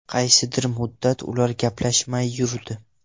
Qaysidir muddat ular gaplashmay yurdi.